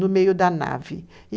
No meio da nave.